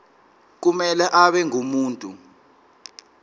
kumele abe ngumuntu